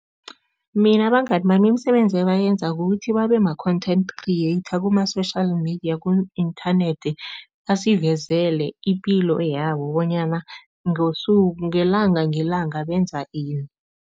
Mina abangani bami, imisebenzi ebayenza kukuthi babema-content creator kuma-social media ku-inthanethi, basivezela ipilo yabo bonyana ngelanga ngelanga benza ini.